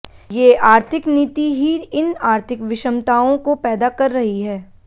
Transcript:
ये आर्थिक नीति ही इन आर्थिक विषमताओं को पैदा कर रही है